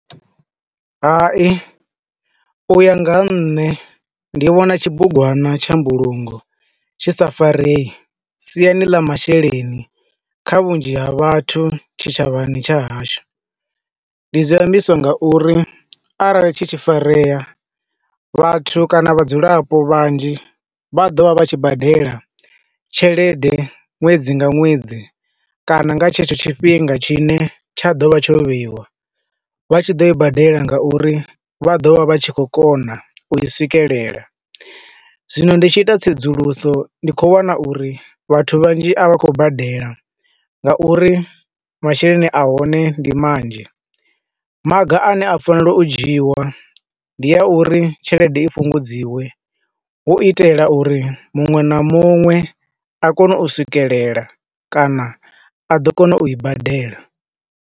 Hai, u ya nga nṋe ndi vhona tshibugwana tsha mbulungo tshi sa farei siani ḽa masheleni kha vhunzhi ha vhathu tshi tshavhana tsha hashu. Ndi zwi ambiswa nga uri arali tshi tshi farea, vhathu kana vhadzulapo vhanzhi vha ḓo vha vha tshi badela tshelede ṅwedzi nga ṅwedzi kana nga tshetsho tshifhinga tshi ne tsha ḓo vha tsho vheiwa. Vha tshi ḓo i badela nga uri vha ḓo vha vha tshi khou kona u i swikelela. Zwino ndi tshi ita tsedzuluso ndi khou wana uri vhathu vhanzhi a vha khou badela nga uri masheleni a hone ndi manzhi. Maga ana a tea u dzhiiwa ndi a uri tshelede i fhungudziwe hu itela uri muṅwe na muṅwe a kone u swikelela kana a ḓo kona u i badela.